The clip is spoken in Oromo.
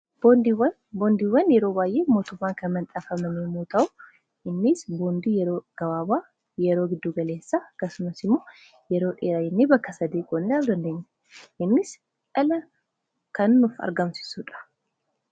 boondiwwan. boondiiwwan yeroo baayyee mootummaan kan manxaafaman yoo ta'u innis boondii yeroo gabaabaa yeroo giddu galeessaafi akkasumas immoo yeroo dheera jennee bakka sadii qoonnee lafa keeeenye innis dhala kannuuf argamsisuudha